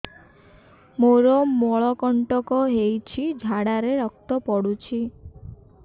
ମୋରୋ ମଳକଣ୍ଟକ ହେଇଚି ଝାଡ଼ାରେ ରକ୍ତ ପଡୁଛି